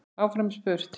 Áfram er spurt.